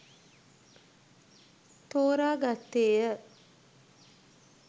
තෝරා ගත්තේය